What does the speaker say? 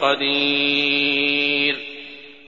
قَدِيرٌ